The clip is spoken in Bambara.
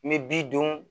N bɛ bi duuru